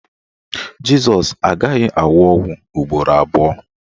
Jịsọs agaghị anwụ ọnwụ ugboro abụọ